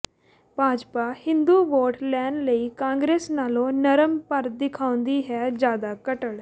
Bhajpa Hindu vote ਲੈਣ ਲਈ Congress ਨਾਲੋਂ ਨਰਮ ਪਰ ਦਿਖਾਉਂਦੀ ਹੈ ਜਿ਼ਆਦਾ ਕੱਟੜ